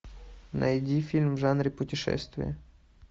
найди фильм в жанре путешествие